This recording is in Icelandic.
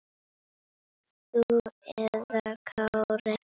Þú eða Kári?